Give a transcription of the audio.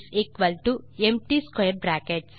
empty 2